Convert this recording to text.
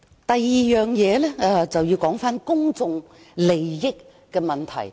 第二，我想討論公眾利益的問題。